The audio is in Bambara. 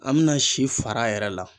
An bɛna si fara yɛrɛ la.